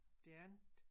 Det andet